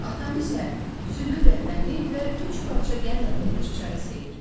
Atam isə südlü qəhvəni və üç parça qənd atılmış çayı sevir.